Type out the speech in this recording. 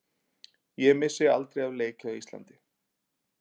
Ég missi aldrei af leik hjá Íslandi.